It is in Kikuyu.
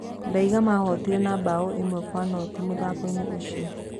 Ndaiga mahootire na mbaũ ĩmwe kwa noti mũthako-inĩ ũcio.